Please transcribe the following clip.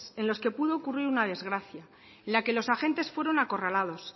en los que pudo ocurrir una desgracia en la que los agentes fueron acorralados